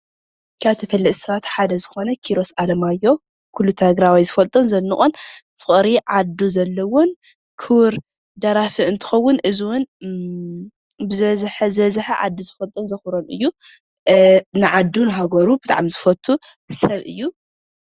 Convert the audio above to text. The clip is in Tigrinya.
ካብ ተፈለጥቲ ሰባት ሓደ ዝኮነ ኪሮስ ኣለማዮህ ኩሉ ትግራዋ ዝፈልጦን ዘድንቆን ፍቅሪ ዓዱ ዘለዎን ክቡር ደራፊ እትከውን እዚ ዉን ብዝበዝሐ ዓዱ ዝፈልጦን ዘክብሮን እዩ፡፡ ንዓዱ ንሃገሩ ብጣዕሚ ዝፈቱ ሰብ እዩ፡፡